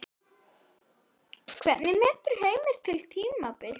Hvernig metur Heimir þetta tímabil?